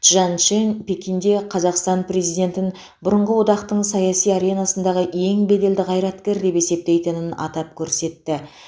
чжан чжэнь пекинде қазақстан президентін бұрынғы одақтың саяси аренасындағы ең беделді қайраткер деп есептейтінін атап көрсетті